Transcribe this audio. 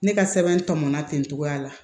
Ne ka sɛbɛn tɔmɔnna ten togoya la